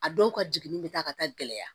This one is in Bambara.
A dɔw ka jiginni bɛ taa ka taa gɛlɛya